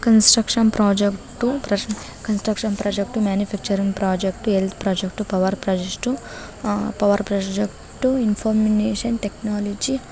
construction project construction project manufacturing project health project power project power project information technology ___